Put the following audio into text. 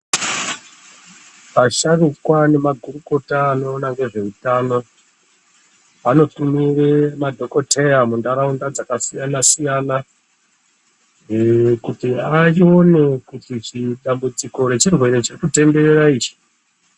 Asharuka nemagurukota anoona nezveutamo, vanotumire madhokoteya muntaraunda dzakasiyana-siyana. Kuti anyore kuti dambudziko rechirwere cheku tenderera ichi.